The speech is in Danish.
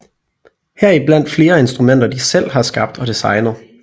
Heriblandt flere instrumenter de selv har skabt og designet